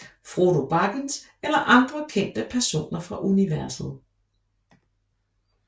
Frodo Baggins eller andre kendte personer fra universet